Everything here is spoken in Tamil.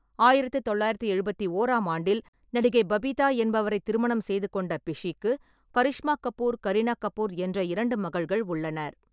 ஆயிரத்து தொள்ளாயிரத்து எழுபத்தி ஓராம் ஆண்டில் நடிகை பபிதா என்பவரை திருமணம் செய்து கொண்ட பிஷிக்கு கரீஷ்மா கபூர், கரீனா கபூர் என்ற இரண்டு மகள்கள் உள்ளனர்.